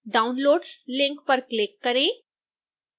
downloads link पर click करें